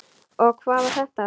Og hvað var þetta?